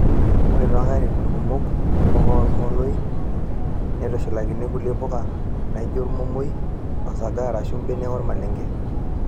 Ore too nkatitin kumok mbuka ormomoi neitushulakini kulie puka naijio ormomoi, osaga arashu mbenek ormalenge.